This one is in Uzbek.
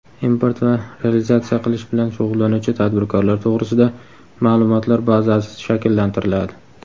import va realizatsiya qilish bilan shug‘ullanuvchi tadbirkorlar to‘g‘risida maʼlumotlar bazasi shakllantiriladi.